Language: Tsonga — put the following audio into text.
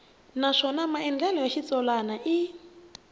naswona maandlalelo ya xitsalwana i